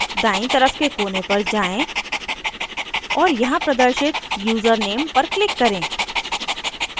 दायीं तरफ के कोने पर जाएँ और यहाँ प्रदर्शित यूज़रनेम पर click करें